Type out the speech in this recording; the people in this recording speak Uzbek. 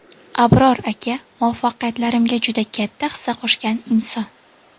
Abror aka muvaffaqiyatlarimga juda katta hissa qo‘shgan inson.